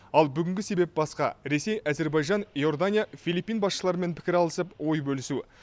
ал бүгінгі себеп басқа ресей әзербайжан иордания филиппин басшыларымен пікір алысып ой бөлісу